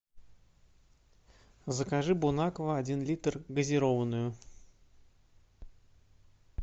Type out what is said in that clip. закажи бон аква один литр газированную